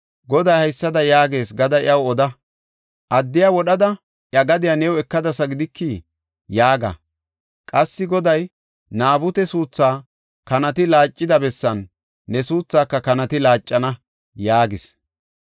Goday haysada yaagees gada iyaw oda; ‘Addiya wodhada iya gadiya new ekadasa gidikii?’ yaaga. Qassi Goday, ‘Naabute suutha kanati laaccida bessan ne suuthaaka kanati laaccana’ ” yaagis.